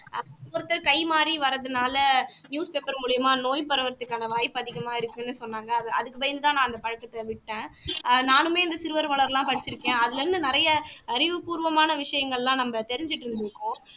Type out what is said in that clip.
கை மாறி வர்றதுனாலே news paper மூலியமா நோய் பரவுறதுக்கான வாய்ப்பு அதிகமா இருக்குன்னு சொன்னாங்க அதுக்கு பயந்து தான் அந்த பழக்கத்தை நான் விட்டேன் நானுமே இந்த சிறுவர் மலர் எல்லாம் படிச்சுருக்கேன் அதில இருந்து நிறைய அறிவுப்பூர்வமான விஷயங்கள் எல்லாம் நம்ம தெரிஞ்சுட்டு இருந்துருக்கோம்